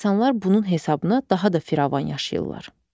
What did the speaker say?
İnsanlar bunun hesabına daha da firavan yaşayırlar.